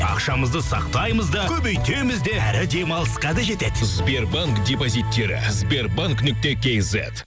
ақшамызды сақтаймыз да көбейтеміз де әрі демалысқа да жетеді сбербанк депозиттері сбербанк нүкте кизет